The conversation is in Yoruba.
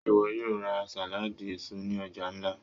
Ṣe iwọ yoo ra saladi eso ni ọja nla?